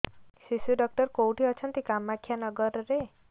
ଶିଶୁ ଡକ୍ଟର କୋଉଠି ଅଛନ୍ତି କାମାକ୍ଷାନଗରରେ